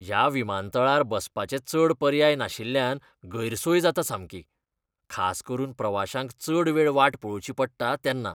ह्या विमानतळार बसपाचे चड पर्याय नाशिल्ल्यान गैरसोय जाता सामकी, खास करून प्रवाशांक चड वेळ वाट पळोवची पडटा तेन्ना.